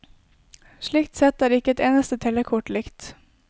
Slik sett er ikke et eneste telekort likt.